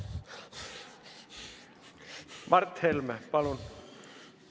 Mart Helme, palun!